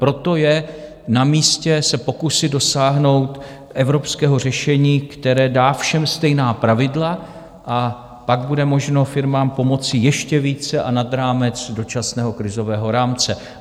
Proto je namístě se pokusit dosáhnout evropského řešení, které dá všem stejná pravidla, a pak bude možno firmám pomoci ještě více a nad rámec dočasného krizového rámce.